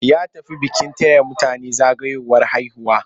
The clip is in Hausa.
Ya tafi bikin taya mutane zagayowar haihuwa.